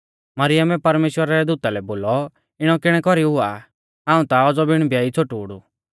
मरियमै परमेश्‍वरा रै दूता लै बोलौ इणौ किणै कौरी हुआ हाऊं ता औज़ौ बिण ब्याई छ़ोटूड़ ऊ